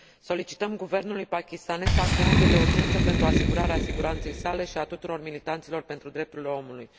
Solicităm guvernului pakistanez să acționeze de urgență pentru asigurarea siguranței sale și a tuturor militanților pentru drepturile omului.